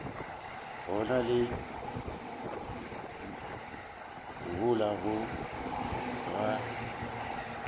go na le mohola go